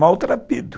Maltrapido.